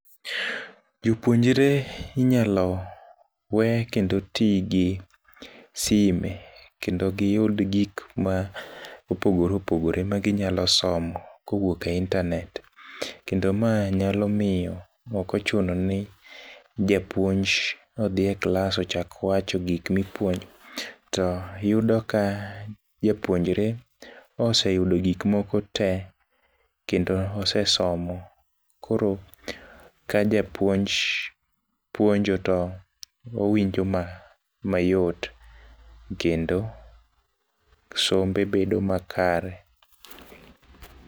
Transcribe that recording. Jopuonjore inyalo we kendo ti gi sime, kendo giyud gik ma opogore opogore ma ginyalo somo koyuok e internet. Kendo mae nyalo miyo ok ochuno ni japuonj odhi e klas ochak wacho gik mipuonjo. To yudo ka japuonjore ose yudo gik moko te kendo osesomo. Koro ka japuonj puonjo to owinjo ma mayot. Kendo sombe bedo makare.